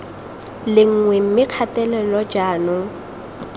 le nngwe mme kgatelelo jaanong